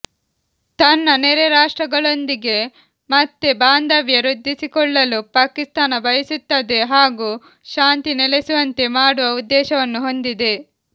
ತನ್ನ ನೆರೆ ರಾಷ್ಟ್ರಗಳೊಂದಿಗೆ ಮತ್ತೆ ಬಾಂಧವ್ಯ ವೃದ್ಧಿಸಿಕೊಳ್ಳಲು ಪಾಕಿಸ್ತಾನ ಬಯಸುತ್ತದೆ ಹಾಗೂ ಶಾಂತಿ ನೆಲೆಸುವಂತೆ ಮಾಡುವ ಉದ್ದೇಶವನ್ನು ಹೊಂದಿದೆ